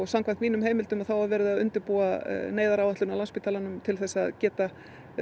samkvæmt mínum heimildum er verið að undirbúa neyðaráætlun á Landspítalanum til að geta